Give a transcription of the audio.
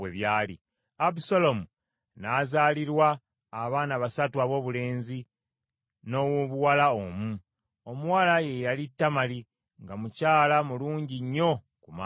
Abusaalomu n’azaalirwa abaana basatu aboobulenzi n’owoobuwala omu. Omuwala ye yali Tamali nga mukyala mulungi nnyo ku maaso.